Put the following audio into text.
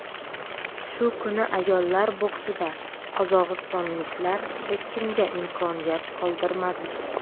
Shu kuni ayollar boksida qozog‘istonliklar hech kimga imkoniyat qoldirmadi.